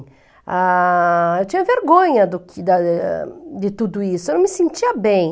Ah... Eu tinha vergonha do da de tudo isso, eu não me sentia bem.